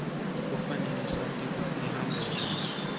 kufanele sati kutsi ihamba njani